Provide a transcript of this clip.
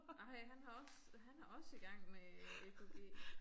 Ej han har også han er også i gang med EKG